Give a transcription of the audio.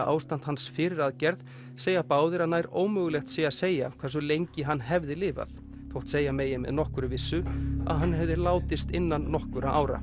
ástand hans fyrir aðgerð segja báðir að nær ómögulegt sé að segja hversu lengi hann hefði lifað þótt segja megi með nokkurri vissu að hann hefði látist innan nokkurra ára